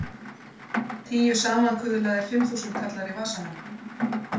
Tíu samankuðlaðir fimmþúsundkallar í vasanum!